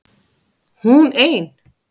HÚN EIN